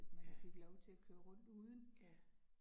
Ja. Ja